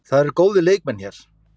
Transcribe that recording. Það eru góðir leikmenn hér.